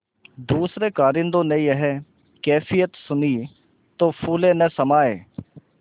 दूसरें कारिंदों ने यह कैफियत सुनी तो फूले न समाये